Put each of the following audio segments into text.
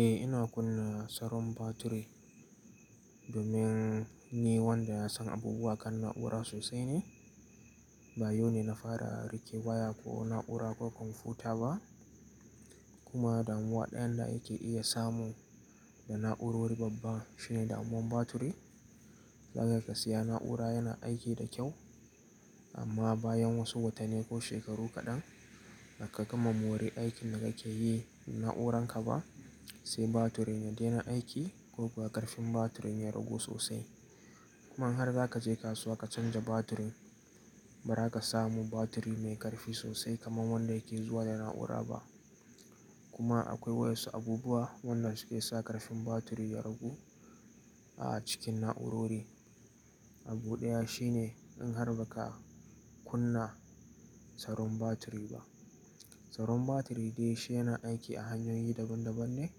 Eh ina kunna tsaron batiri domin ni wanda ya san abubuwa kan na'ura sosai ne. Ba yau ne na fara rike waya ko na'ura ko kwamfuta ba kuma damuwa ɗayan da yake iya samu da na'urori babba shine damuwan batiri. Zaka iya ka siya na'ura yana aiki da kyau amma bayan wasu watanni ko shekaru kaɗan da ka gama mori aikin da kake yi da na'uranka ba sai batirin ya dena aiki ko kuwa ƙarfin batirin ya ragu sosai. Kuma in har zaka je kasuwa ka canja batirin ba raka samu batiri mai ƙarfi sosai kaman wanda yake zuwa da na'ura ba. Kuma akwai wasu abubuwa wanda suke sa ƙarfin batiri ya ragu a cikin na'urori. Abu ɗaya shine in har ba ka kunna tsaron batiri ba. Tsaron batiri dai shi yana aiki a hanyoyi daban daban ne.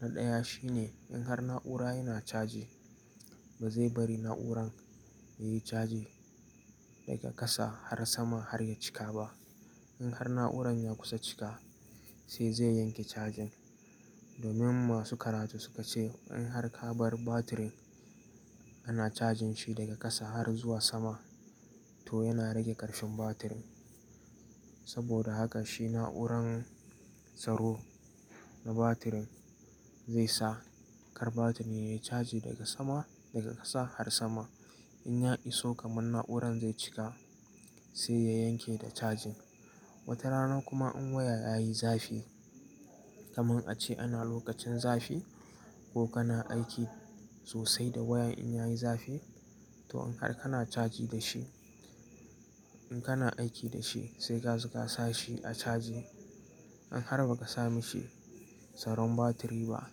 Na ɗaya shine in har na'ura yana caji ba zai bari na'uran yayi caji daga ƙasa har sama har ya cika ba. In har na'uran ya kusa cika sai zai yanke cajin. Domin masu karatu su ka ce in har ka bar batirin ana cajin shi daga ƙasa har zuwa sama to yana rage ƙarfin batirin. Saboda haka shi na'uran tsaro na batirin zai sa kar batirin yayi caji daga sama, daga ƙasa har sama. In ya iso kaman na'uran zai cika sai ya yanke da cajin. Wata rana kuma in waya yayi zafi kaman ace ana lokacin zafi ko kana aiki sosai da waya in yayi zafi to in har kana caji da shi, in kana aiki da shi sai ka zo ka sa shi a caji. In har ba ka sa mishi tsaron batiri ba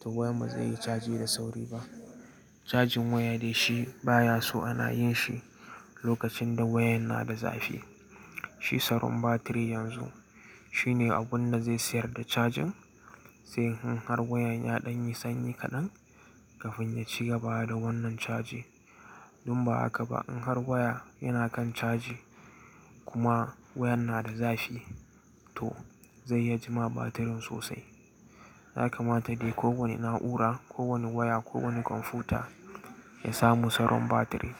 to wayan ba zai yi caji da sauri ba. Cajin waya dai shi baya so ana yin shi lokacin da wayan na da zafi. Shi tsaron batiri yanzu shine abun da zai siyar da cajin sai in har wayan ya ɗan yi sanyi kaɗan kafin ya cigaba da wannan caji Dunba haka ba in har waya yana kan caji kuma wayan na da zafi to zai ya jima batirin sosai. Ya mata dai ko wani na'ura, ko wani waya, ko wani kwamfuta ya samu tsaron batiri.